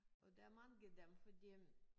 Og der mange af dem fordi